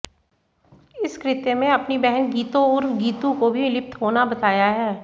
इस कृत्य मे अपनी बहन गीतो उर्फ गीतू को भी लिप्त होना बताया है